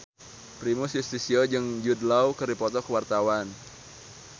Primus Yustisio jeung Jude Law keur dipoto ku wartawan